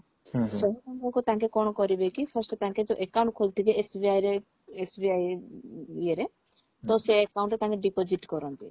ଶହେ ଟଙ୍କାକୁ ତାଙ୍କେ କଣ କରିବେ କି first ତାଙ୍କେ ଯଉ account ଖୋଲିଥିବେ SBI ରେ SBI ଇଏ ରେ ତ ସେ account ରେ ତାଙ୍କେ deposit କରନ୍ତି